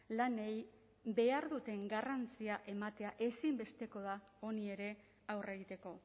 lanei behar duten garrantzia ematea ezinbesteko da honi ere aurre egiteko